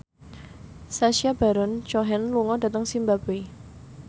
Sacha Baron Cohen lunga dhateng zimbabwe